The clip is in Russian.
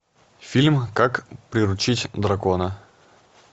фильм как приручить дракона